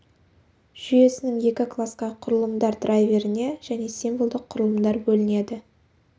жүйесінің екі класқа құрылымдар драйверіне және символдық құрылымдар бөлінеді